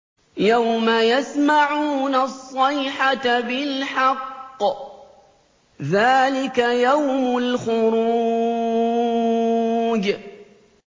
يَوْمَ يَسْمَعُونَ الصَّيْحَةَ بِالْحَقِّ ۚ ذَٰلِكَ يَوْمُ الْخُرُوجِ